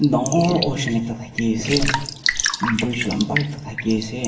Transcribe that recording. Dangor ocean ekta thakey ase bridge lamba ekta thakey ase.